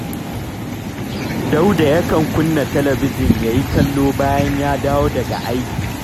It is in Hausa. Dauda yakan kunna talabijin ya yi kallo bayan ya dawo daga aiki